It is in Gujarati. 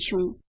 લખીશું